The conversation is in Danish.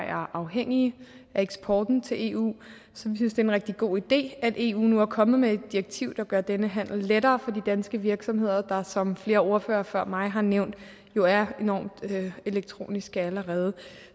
er afhængige af eksporten til eu så vi synes det er en rigtig god idé at eu nu er kommet med et direktiv der gør denne handel lettere for de danske virksomheder der som flere ordførere før mig har nævnt jo er enormt elektroniske allerede